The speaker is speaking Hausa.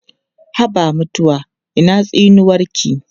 Haba mutuwa ina tsinuwarki?